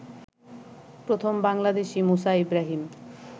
প্রথম বাংলাদেশি মুসা ইব্রাহীম